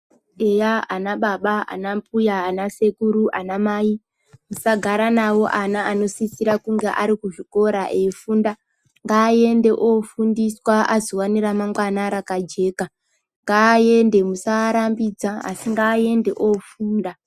Eya ana baba ana mbuya ana sekuru ana mai musagara navo ana anositsira kunge ari kuzvikora aifunda. Ngaaende andofundiswa azowana remangwana rakajeka .Ngaaende musaarambidza asi ngaaende ofunda.